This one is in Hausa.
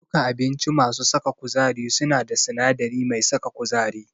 Duka abinci masu saka kuzari suna da sinadari mai saka kuzari.